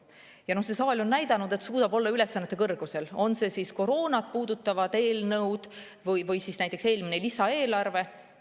Ja see saal on näidanud, et suudab olla ülesannete kõrgusel, on see siis olnud mõni koroonat puudutav eelnõu või näiteks eelmine lisaeelarve.